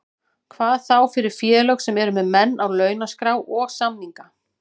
Hvað þá fyrir félög sem eru með menn á launaskrá og samninga.